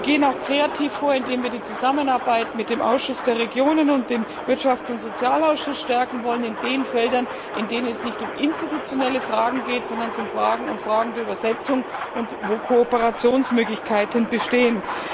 Wir gehen auch kreativ vor, indem wir die Zusammenarbeit mit dem Ausschuss der Regionen und dem Wirtschafts und Sozialausschuss stärken wollen in den Feldern, in denen es nicht um institutionelle Fragen geht, sondern um Fragen der Übersetzung, wo Kooperationsmöglichkeiten bestehen.